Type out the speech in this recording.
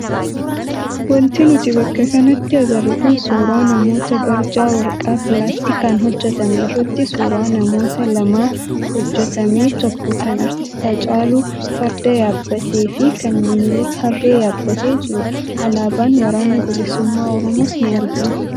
Wanti nuti bakka kanatti agarru kun suuraa namoota barjaa waraqaa pilaastikaan hojjatame irratti suuraa namoota lamaa hojjatame tokko kan artistii Hacaaluu farda yaabbatee fi kan Minilik harree yaabbatee jirudha. Alaabaan waraana bilisummaa oromoos ni argama.